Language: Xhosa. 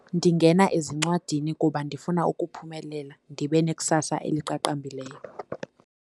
Ndingena ezincwadini kuba ndifuna ukuphumelela ndibe nekusasa eliqaqambileyo.